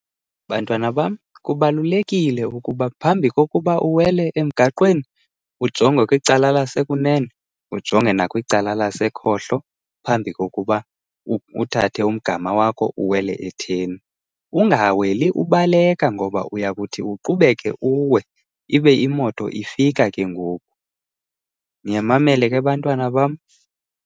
Bantwana bam, kubalulekile ukuba phambi kokuba uwele emgaqweni ujonge kwicala lasekunene ujonge nakwicala lasekhohlo phambi kokuba uthathe umgama wakho uwele etheni. Ungaweli ubaleka ngoba uyakuthi uqubeke uwe, ibe imoto ifika ke ngoku. Niyamamela ke bantwana bam?